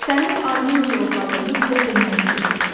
sənin ayını necə ovladığını bizə deməyini gözləyirik.